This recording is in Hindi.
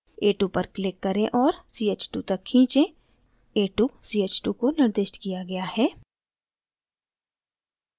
a2 पर click करें और ch2 तक खींचें